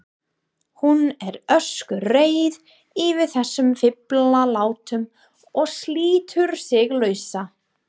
Hún er öskureið yfir þessum fíflalátum og slítur sig lausa.